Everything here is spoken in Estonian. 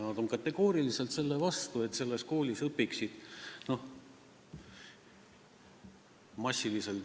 Nad on kategooriliselt selle vastu, et selles koolis õpiks massiliselt ...